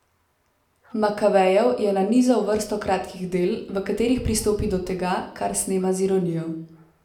Makavejev je nanizal vrsto kratkih del, v katerih pristopi do tega, kar snema z ironijo.